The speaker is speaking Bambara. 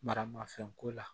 Maramafɛnko la